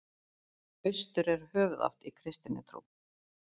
Austur er höfuðátt í kristinni trú.